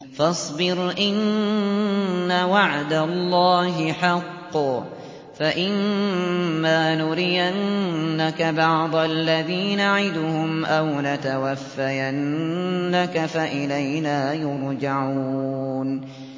فَاصْبِرْ إِنَّ وَعْدَ اللَّهِ حَقٌّ ۚ فَإِمَّا نُرِيَنَّكَ بَعْضَ الَّذِي نَعِدُهُمْ أَوْ نَتَوَفَّيَنَّكَ فَإِلَيْنَا يُرْجَعُونَ